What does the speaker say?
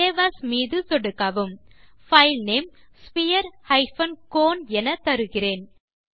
save as மீது சொடுக்கவும் file name sphere cone எனத்தருகிறேன்